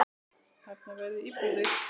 Þarna verði íbúðir.